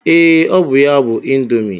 Ee, ọ bụ ya bụ ịndomii.